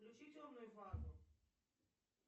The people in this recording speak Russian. включи темную фазу